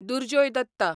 Durjoy Datta